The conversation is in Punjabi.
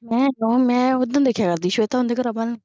ਮੈਂ ਕਿਉਂ ਮੈਂ ਉਦਣ ਦੇਖਿਆ ਕਰਦੀ ਸ਼ਵੇਤਾ ਨੂੰ